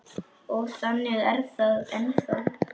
Og þannig er það ennþá.